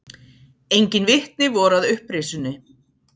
Engin vitni voru að upprisunni.